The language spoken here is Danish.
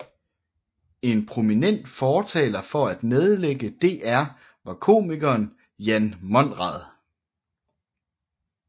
En prominent fortaler for at nedlægge DR var komikeren Jan Monrad